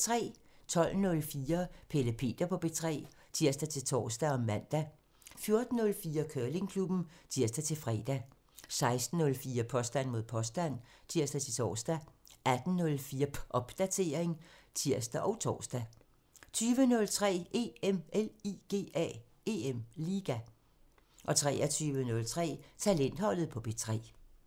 12:04: Pelle Peter på P3 (tir-tor og man) 14:04: Curlingklubben (tir-fre) 16:04: Påstand mod påstand (tir-tor) 18:04: Popdatering (tir og tor) 20:03: EM LIGA 23:03: Talentholdet på P3 (tir)